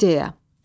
İdeya.